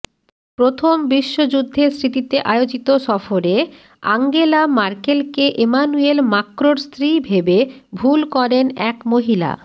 প্রথম বিশ্বযুদ্ধের স্মৃতিতে আয়োজিত সফরে আঙ্গেলা ম্যার্কেলকে এমানুয়েল মাক্রোঁর স্ত্রী ভেবে ভুল করেন এক মহিলা